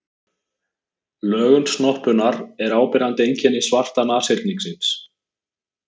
Lögun snoppunnar er áberandi einkenni svarta nashyrningsins.